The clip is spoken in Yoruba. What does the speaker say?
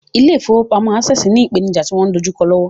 Ilé ìfowópamọ́ Access ní ìpènijà tí wọ́n dojú kọ lọ́wọ́ lọ́wọ́.